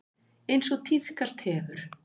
Eins og tíðkast hefur.